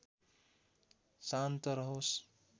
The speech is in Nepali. शान्त रहोस्